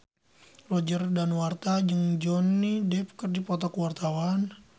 Roger Danuarta jeung Johnny Depp keur dipoto ku wartawan